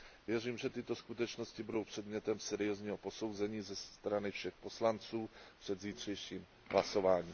Věřím, že tyto skutečnosti budou předmětem seriózního posouzení ze strany všech poslanců před zítřejším hlasováním.